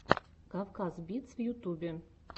кавказ битс в ютубе